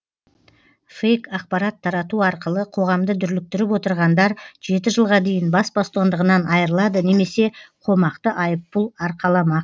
фэйк ақпарат тарату арқылы қоғамды дүрліктіріп отырғандар жеті жылға дейін бас бостандығынан айырылады немесе қомақты айыппұл арқаламақ